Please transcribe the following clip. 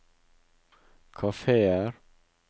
kafeer